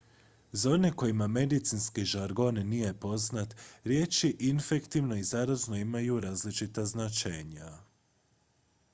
za one kojima medicinski žargon nije poznat riječi infektivno i zarazno imaju različita značenja